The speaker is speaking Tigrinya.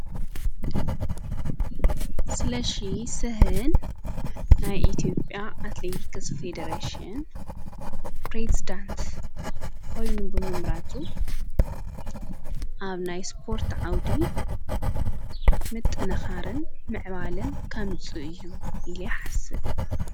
ስለሽ ስህን ናይ ኢቲኦጴያ ኣትሌቲክስ ፈዴረሴን ጵሬዝዳንት ኾይኑ ብመምህራቱ ኣብ ናይ ስጶርት ዓውዲ ምጥነኻርን ምዕባልን ከምጹ እዩ ኢለ ይሓስብ።